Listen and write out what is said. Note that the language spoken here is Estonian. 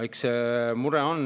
Eks see mure on.